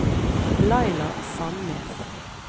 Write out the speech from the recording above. Laila Sannes